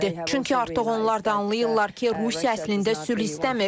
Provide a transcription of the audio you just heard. Çünki artıq onlar da anlayırlar ki, Rusiya əslində sülh istəmir.